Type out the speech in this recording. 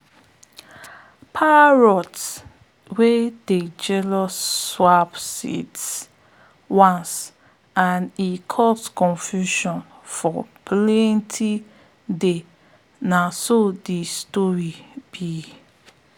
parrot wey dey jealous swap seeds once and e cause confusion for planting day na so de story be